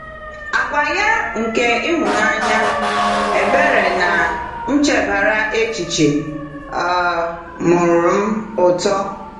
Àgwà ya nke ịhụnanya, ebere, na nchebara echiche um mụụrụ m ụtọ.